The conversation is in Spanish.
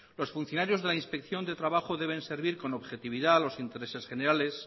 los funcionarios de la inspección de trabajo debe servir con objetividad los intereses generales